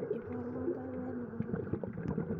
Ibwon baruet nebo komolo